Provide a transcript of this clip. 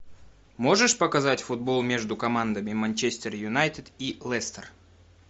можешь показать футбол между командами манчестер юнайтед и лестер